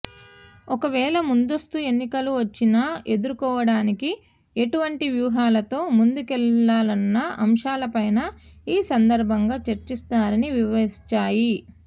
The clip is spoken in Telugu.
ఒకవేళ ముందస్తు ఎన్నికలు వచ్చినా ఎదుర్కొవడానికి ఎటువంటి వ్యూహంతో ముందుకెళ్లాలన్న అంశాలపైనా ఈ సందర్భంగా చర్చిస్తారని వివరించాయి